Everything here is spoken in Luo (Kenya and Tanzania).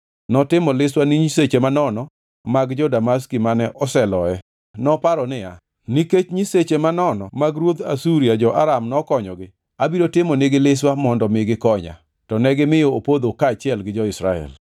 Notimo liswa ni nyiseche manono mag jo-Damaski mane oseloye. Noparo niya, “Nikech nyiseche manono mag ruodhi jo-Aram nokonyogi, abiro timo nigi liswa mondo mi gikonya.” To negimiyo opodho kaachiel gi jo-Israel.